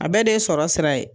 A bɛɛ de ye sɔrɔ sira ye.